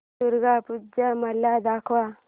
दुर्गा पूजा मला सांग